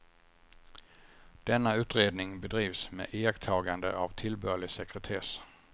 Denna utredning bedrivs med iakttagande av tillbörlig sekretess.